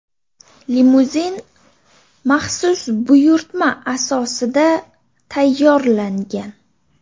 Limuzin maxsus buyurtma asosida tayyorlangan.